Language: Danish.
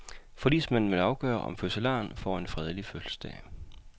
Forligsmanden vil afgøre, om fødselaren får en fredelig fødselsdag.